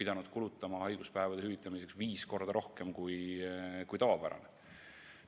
pidanud kulutama haiguspäevade hüvitamiseks viis korda rohkem kui tavapäraselt.